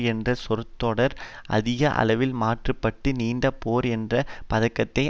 என்ற சொற்றொடர் அதிக அளவில் மாற்ற பட்டு நீண்ட போர் என்ற பதத்தை